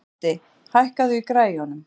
Addi, hækkaðu í græjunum.